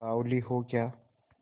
बावली हो क्या